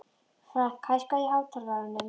Frank, hækkaðu í hátalaranum.